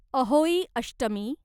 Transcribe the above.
Ahoi Ashtami